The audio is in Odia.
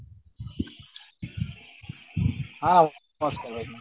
ହଁ